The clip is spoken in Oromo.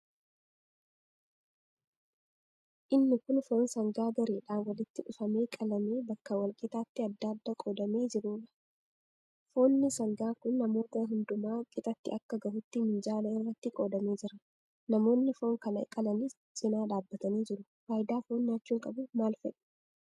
Inni kun foon sangaa gareedhaan walitti dhufamee qalamee bakka wal qixaatti adda adda qoodamee jiruudha. Foonni sangaa kun namoota hundumaa qixatti akka gahutti minjaala irratti qoodamee jira. Namoonni foon kana qalanis cina dhaabbatanii jiru. Faayidaa foon nyaachuun qabu maal fa'i?